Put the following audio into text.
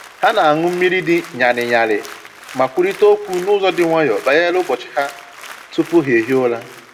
Ha na-aṅụ mmiri dị ñarị ñarị ma kwurịta okwu n'ụzọ dị nwayọọ banyere ụbọchị ha tupu ha ehie ụra